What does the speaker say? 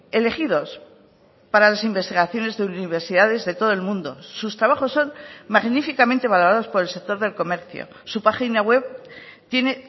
elegidos para las investigaciones de universidades de todo el mundo sus trabajos son magníficamente valorados por el sector del comercio su página web tiene